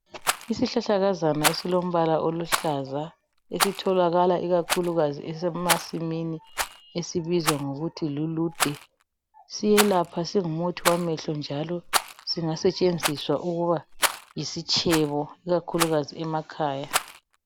Isihlahlakazana esilombala oluhlaza esitholakala ikakhulukazi emasimini esibizwa ngokuthi lulude. Siyelapha singumuthi wamehlo njalo singasetshenziswa ukuba yisitshebo ikakhulu emakhaya.